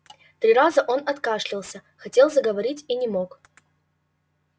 три раза он откашливался хотел заговорить и не мог